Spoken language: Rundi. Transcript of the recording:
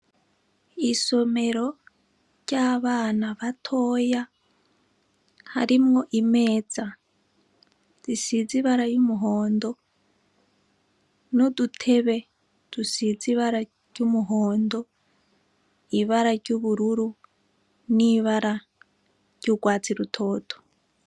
Isomero ry' abana batoya harimwo imeza isize ibara ry' umuhondo n' udutebe dusize ibara ry' umuhondo, ibara ry' ubururu n' ibara ry' ugwatsi rutoto.